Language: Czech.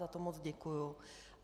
Za to moc děkuji.